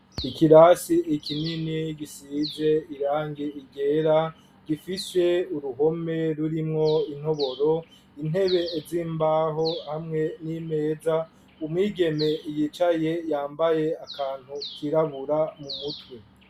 Ikirasi ikinini gisize irangi ryera gifise uruhome rurimwo intoboro intebe z'imbaho hamwe n'imeza umwigeme yicaye yambaye akantu kirabura mu mutwe